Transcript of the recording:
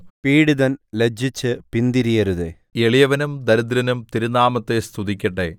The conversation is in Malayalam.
പീഡിതൻ ലജ്ജിച്ച് പിന്തിരിയരുതേ എളിയവനും ദരിദ്രനും തിരുനാമത്തെ സ്തുതിക്കട്ടെ